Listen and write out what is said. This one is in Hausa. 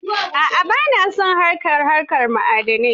A'a ba na son harkar haƙar ma'adanai.